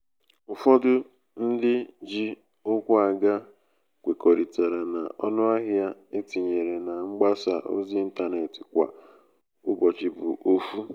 ụfọdụ ndị ji ukwu aga kwekoritara na ọnụahịa e tinyere na mgbasa ozi 'ịntanetị kwa ụbọchị bu ofu